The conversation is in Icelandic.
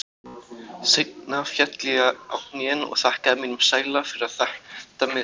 Seinna féll ég á hnén og þakkaði mínum sæla fyrir að þetta mistókst.